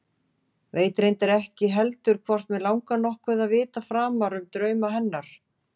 Veit reyndar ekki heldur hvort mig langar nokkuð að vita framar um drauma hennar.